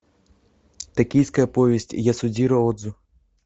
токийская повесть ясудзиро одзу